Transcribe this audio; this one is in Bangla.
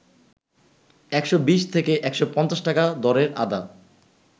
১২০ থেকে ১৫০ টাকা দরের আদা